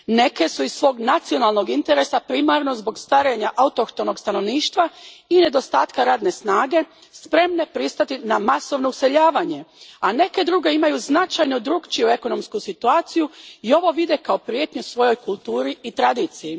Neke su iz svog nacionalnog interesa, primarno zbog starenja autohtonog stanovništva i nedostatka radne snage, spremne pristati na masovno useljavanje, a neke druge imaju značajno drukčiju ekonomsku situaciju i ovo vide kao prijetnju svojoj kulturi i tradiciji.